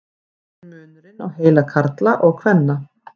hver er munurinn á heila karla og kvenna